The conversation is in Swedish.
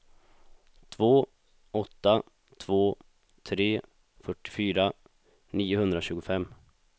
två åtta två tre fyrtiofyra niohundratjugofem